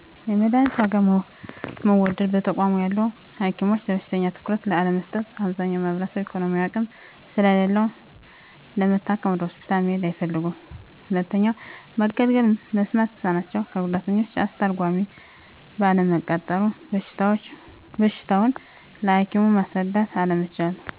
የመዳሀኒት ዋጋ መወደድ በተቋሙ ያሉ ሀኪሞች ለበሽተኛ ትኩረት አለመስጠት አብዛኛው ማህበረሰብ የኢኮኖሚ አቅም ስሌለለዉ ለመታከም ወደ ሆስፒታል መሄድ አይፈልጉም 2. መገለል መስማት የተሳናቸው አካል ጉዳተኞች አስተርጓሚ ባለመቀጠሩ በሽታዉን ለሀኪሙ ማስረዳት አለመቻሉ